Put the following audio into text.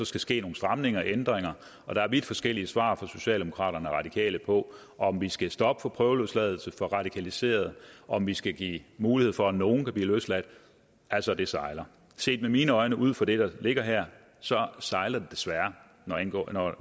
skal ske nogle stramninger eller ændringer og der er vidt forskellige svar fra socialdemokraterne og radikale på om vi skal stoppe for prøveløsladelse for radikaliserede om vi skal give mulighed for at nogen kan blive løsladt altså det sejler set med mine øjne ud fra det der ligger her så sejler det desværre